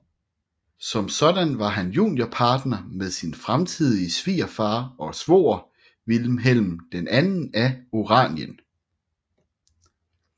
Som sådan var han juniorpartner med sin fremtidige svigerfar og svoger Vilhelm II af Oranien